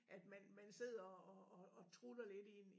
At man man sidder og og og trutter lidt i en